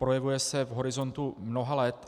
Projevuje se v horizontu mnoha let.